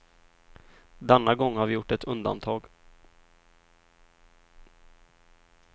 Denna gång har vi gjort ett undantag.